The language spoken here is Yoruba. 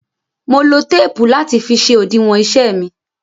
Mo lo téèpù láti fi ṣe òdiwọn iṣẹ́ mi.